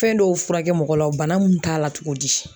Fɛn dɔw furakɛ mɔgɔ la wo bana mun t'a la togo di